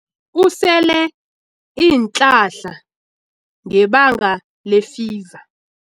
Usele iinhlahla ngebanga lefiva.